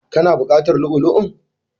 Ka na buƙatar lu'u lu'u?